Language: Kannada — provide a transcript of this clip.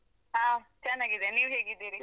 ಆ ಚೆನ್ನಾಗಿದ್ದೇನೆ ನೀವ್ ಹೇಗಿದ್ದೀರಿ?